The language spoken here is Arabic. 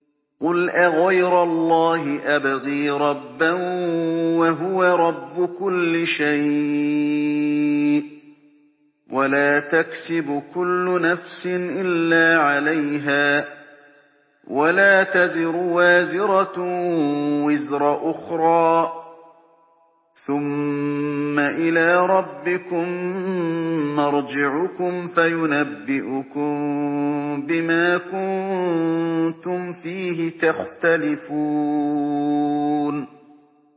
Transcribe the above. قُلْ أَغَيْرَ اللَّهِ أَبْغِي رَبًّا وَهُوَ رَبُّ كُلِّ شَيْءٍ ۚ وَلَا تَكْسِبُ كُلُّ نَفْسٍ إِلَّا عَلَيْهَا ۚ وَلَا تَزِرُ وَازِرَةٌ وِزْرَ أُخْرَىٰ ۚ ثُمَّ إِلَىٰ رَبِّكُم مَّرْجِعُكُمْ فَيُنَبِّئُكُم بِمَا كُنتُمْ فِيهِ تَخْتَلِفُونَ